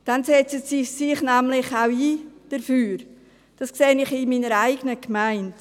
Dann setzen Sie sich nämlich auch dafür ein, das sehe ich in meiner eigenen Gemeinde.